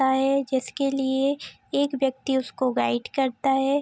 ता है जिसके लिए एक व्यक्ति उसको गाइड करता है।